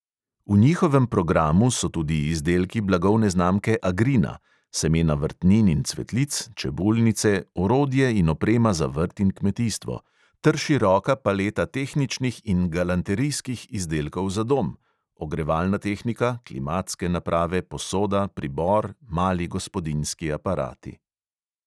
V njihovem programu so tudi izdelki blagovne znamke agrina (semena vrtnin in cvetlic, čebulnice, orodje in oprema za vrt in kmetijstvo) ter široka paleta tehničnih in galanterijskih izdelkov za dom (ogrevalna tehnika, klimatske naprave, posoda, pribor, mali gospodinjski aparati).